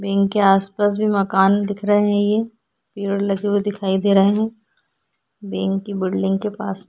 wing के आस-पास भी मकान दिख रहे हैं ये पेड़ लगे हुए दिखाई दे रहे हैं ये विंग की बिल्डिंग के पास में --